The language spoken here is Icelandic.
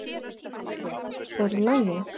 Alfreð, er í lagi?